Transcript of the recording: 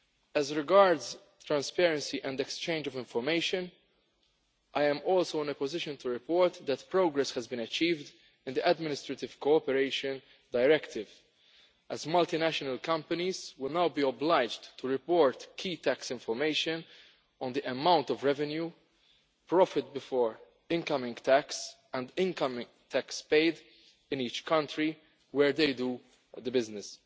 As regards transparency and exchange of information, I am also in a position to report that progress has been achieved on the Administrative Cooperation Directive, as multinational companies will now be obliged to report key tax information on the amount of revenue, profit before income tax and income tax paid in each country where they do business.